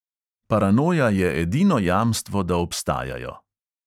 Paranoja je edino jamstvo, da obstajajo.